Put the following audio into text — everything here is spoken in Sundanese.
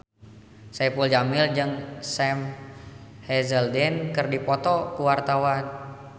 Saipul Jamil jeung Sam Hazeldine keur dipoto ku wartawan